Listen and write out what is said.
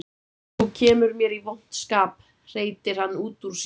Þú kemur mér í vont skap, hreytir hann út úr sér.